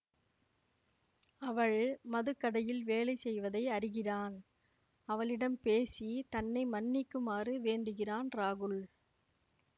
அவள் மதுக்கடையில் வேலை செய்வதை அறிகிறான் அவளிடம் பேசி தன்னை மன்னிக்குமாறு வேண்டுகிறான் ராகுல்